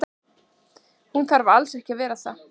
Hann þarf alls ekki að vera það.